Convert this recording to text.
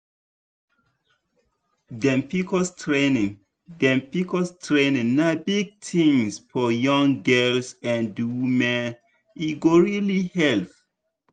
dem pcos training dem pcos training na big thing for young girls and women e go really help.